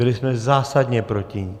Byli jsme zásadně proti ní.